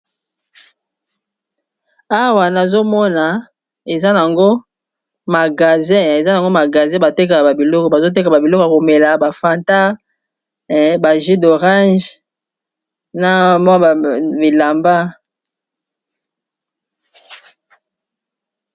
awa nazomona eza n yango magaze bateka a iloko bazoteka ba biloko ya komela bafanta baju d'orange na mwa abilamba